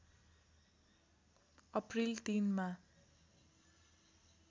April ३ मा